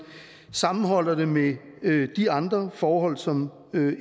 sammenholder det med de andre forhold som